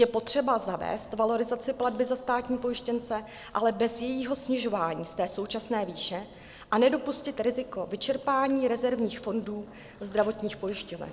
Je potřeba zavést valorizaci platby za státní pojištěnce, ale bez jejího snižování z té současné výše, a nedopustit riziko vyčerpání rezervních fondů zdravotních pojišťoven.